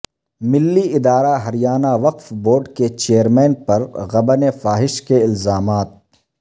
ملی ادارہ ہریانہ وقف بورڈ کے چیئرمین پر غبن فاحش کے الزامات